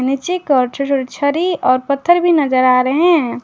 पीछे की ओर छोटे छोटे छरि और पत्थर भी नजर आ रहे हैं।